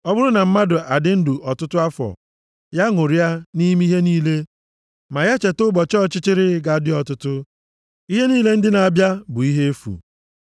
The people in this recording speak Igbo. Ọ bụrụ na mmadụ adị ndụ ọtụtụ afọ, ya ṅụrịa nʼime ihe niile, ma ya cheta ụbọchị ọchịchịrị ga-adị ọtụtụ. Ihe niile ndị na-abịa bụ ihe efu.